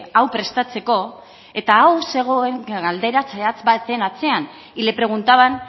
hau prestatzeko eta hau zegoen galdera zehatz baten atzean y le preguntaban